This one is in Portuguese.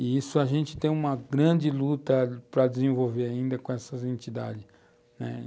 E isso a gente tem uma grande luta para desenvolver ainda com essas entidades, né